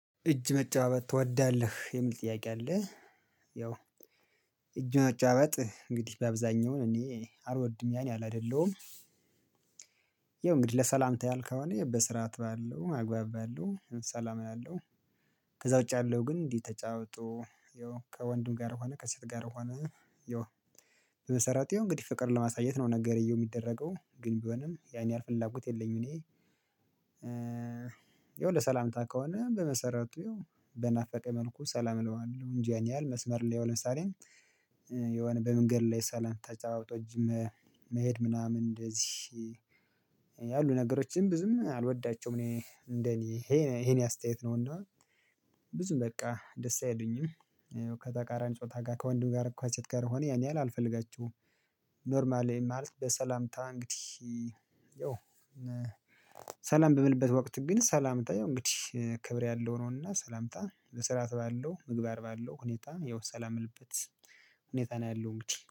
እጅ መጫባበጥ ትወዳለህ የሚል ጥያቄ አለ። ያው እጅ መጨባበጥ እንግዲህ በአብዛኛው እኔ አልወድም ያን ያሀል አደለሁም። ይኸው እንግዲህ ለሰላምታ ያሀል ከሆነ በስራት ባለው አግባብ ባለው ሰላም አለው። ከዛ ውጪ ያለው ግን እንዲህ ተጫባብጦ ይኸው ከወንድም ጋር ከሆነ ከሴት ጋር ሆነ። ይኸው በመሰረቱው እንግዲህ ፍቅር ለማሳየት ነው ነገረየው የሚደረገው ግን ቢሆንም ያን ያህል ፍላጎት የለኝም እኔ። ይኸው ለሰላምታ ከሆነ በመሰረቱ በናፈቀ መልኩ ሰላም እለዋለሁ እንጂ ያን ያህል መስመር ላይ ለምሳሌ። የሆነ በመንገድ ላይ ሰላም ተጫባብጦ መሄድ ምናምን እንደዚህ ያሉ ነገሮችን ብዙም አልወዳቸውም። እኔ እንደኔ ይሄ የኔ አስተያየት ነው እና ብዙም በቃ ደስ አይሉኝም። ከተቃራኒ ጾታ ጋር ከወንድም ከሴት ጋር ሆነ ያን የህል አልፈልጋችሁም። ኖርማል ይሄን ማለት በሰላምታ እንግዲህ ያው ሰላም በምልበት ወቅት ግን ሰላምታ ያው እንግዲህ ክብር ያለው ነውና ሰላምታ በስራአት ባለው ምግባር ባለው ሁኔታ ያው ሰላም ልበት ሁኔታ ነው ያለው እንግዲህ